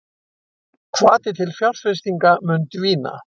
Hvati til fjárfestinga mun dvína